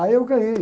Aí eu ganhei.